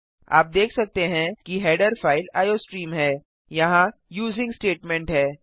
आप देख सकते हैं कि हेडर फाइल आईओस्ट्रीम है यहाँ यूजिंग स्टेटमेंट है